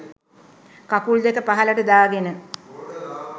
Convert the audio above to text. කකුල් දෙක පහළට දාගෙන